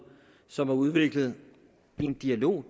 som er udviklet i en dialog og